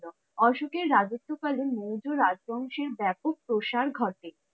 অশোকের রাজত্ব কালে মৌর্য রাজবংশের ব্যাপক প্রসার ঘটে।